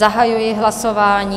Zahajuji hlasování.